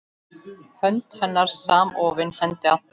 Hönd hennar samofin hendi Antons.